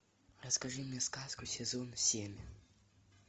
расскажи мне сказку сезон семь